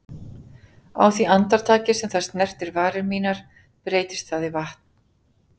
Á því andartaki sem það snertir varir mínar breytist það í vatn.